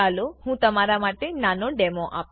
ચાલો હું તમારા માટે નાનો ડેમો આપું